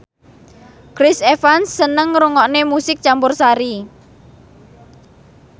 Chris Evans seneng ngrungokne musik campursari